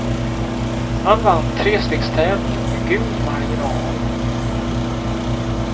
Han vann trestegstävlingen med god marginal.